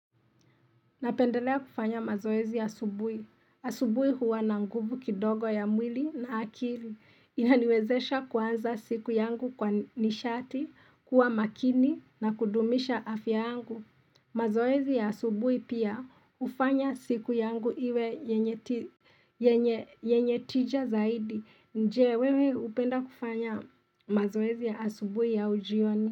Napendelea kufanya mazoezi asubuhi. Asubuhi huwa na nguvu kidogo ya mwili na akili. Inaniwezesha kuanza siku yangu kwa nishati, kuwa makini na kudumisha afya angu. Mazoezi ya asubuhi pia hufanya siku yangu iwe yenye tija zaidi. Je, wewe hupenda kufanya mazoezi asubuhi au jioni?